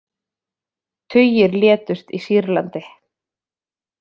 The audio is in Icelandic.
Tugir létust í Sýrlandi